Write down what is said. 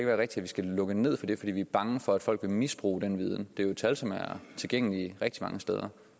vi skal lukke ned for det fordi vi er bange for at folk vil misbruge den viden det er jo tal som er tilgængelige rigtig mange steder